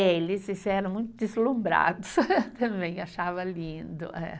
Eh eles eram muito deslumbrados também, achava lindo, é